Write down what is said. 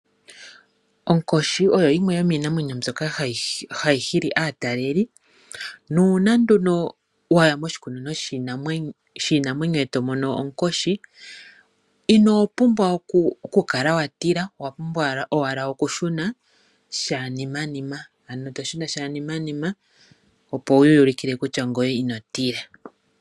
Onkoshi oyo yimwe yomiinamwenyo mbyoka hayi hili aataleli. Nuuna nduno waya moshikunino shiinamwenyo ino pumbwa okukala wa tila owa pumbwa owala okushuna monima opo wuyi ulukile kutya ngoye ino tila.